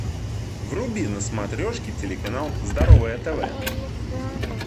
вруби на смотрешке телеканал здоровое тв